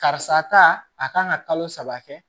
Karisa ta a kan ka kalo saba kɛ